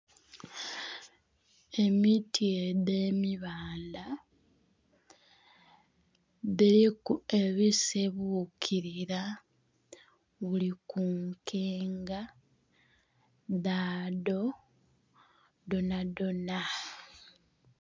Emiti edh'emibanda dhiliku ebisibukilira buli ku nkenga dhadho dhonadhona.